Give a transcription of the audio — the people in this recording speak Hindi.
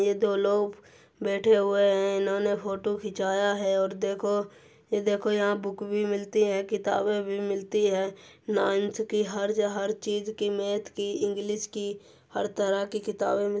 ये दो लोग बैठे हुए हैं। इन्होंने फोटो खीचाया है और देखो ये देखो यहाँ बुक भी मिलती है किताबे भी मिलती है नाईन्थ की हर हर चीज की और मैथ की इंग्लिस की हर तरह की किताबे --